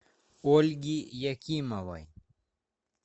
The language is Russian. ольги якимовой